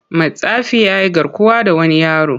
Matsafin ya yi garkuwa da wani yaro.